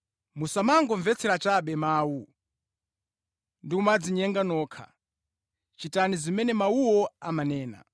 Musamangomvetsera chabe mawu, ndi kumadzinyenga nokha. Chitani zimene mawuwo amanena.